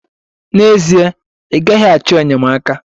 N'ezie, ị gaghị achọ enyemaka.